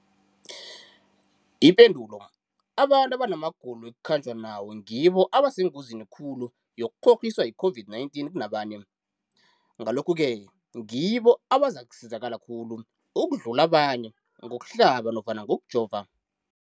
Ipendulo, abantu abanamagulo ekukhanjwa nawo ngibo abasengozini khulu yokukghokghiswa yi-COVID-19 kunabanye, Ngalokhu-ke ngibo abazakusizakala khulu ukudlula abanye ngokuhlaba nofana ngokujova.